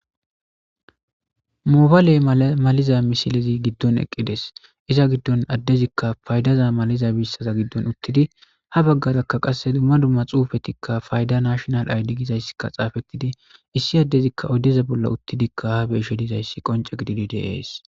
Mobale maliza missilezi godon eqqides izza gidon addezikka faydaza maliza mishshata gidon uttidi ha bagarakka qasse dumma dumma xuppethikka faydda nashinal aydde gizaykka xappetidi issi addezikka oydeza bolla uttidikka be'ishe dizzayssakka qonce gididi dees